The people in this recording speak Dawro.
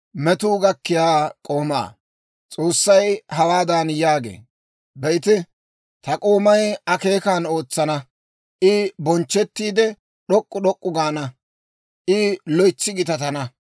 S'oossay hawaadan yaagee; «Be'ite, ta k'oomay akeekan ootsana; I bonchchettiide, d'ok'k'u d'ok'k'u gaana; I loytsi gitatana.